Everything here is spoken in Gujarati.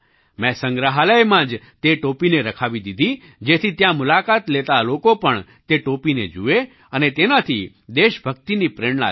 મેં સંગ્રહાલયમાં જ તે ટોપીને રખાવી દીધી જેથી ત્યાં મુલાકાત લેતા લોકો પણ તે ટોપીને જુએ અને તેનાથી દેશભક્તિની પ્રેરણા લે